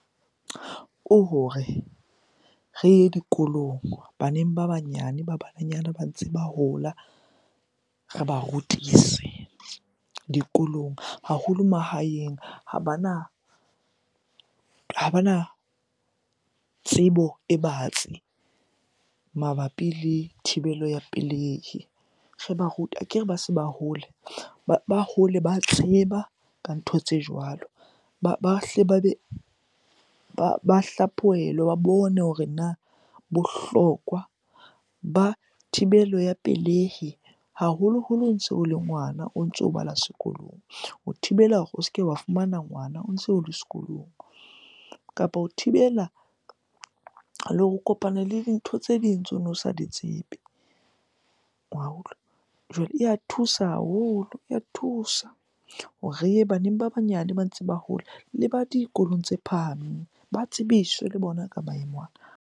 Ke hore re ye dikolong baneng ba banyane ba bananyana ba ntse ba hola, re ba rutise dikolong. Haholo mahaeng ha bana, tsebo e batsi mabapi le thibelo ya pelehi, re ba rute. Akere ba se ba hola, ba hole ba tseba ka ntho tse jwalo. Ba hle ba be ba hlaphohelwe, ba bone hore na bohlokwa ba thibelo ya pelehi haholoholo o ntso o le ngwana, o ntso o bala sekolong? Ho thibela hore o se ke wa fumana ngwana o ntse o le sekolong. Kapa ho thibela le o kopane le dintho tse ding tseo ono sa di tsebe wa utlwa. Jwale e ya thusa haholo, ya thusa hore re ye baneng ba banyane ba ntse ba hola le ba dikolong tse phahameng. Ba tsebiswe le bona ka maemo ana.